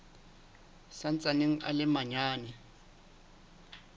sa ntsaneng a le manyane